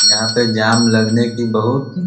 यहाँ पे जाम लगने कि बहुत --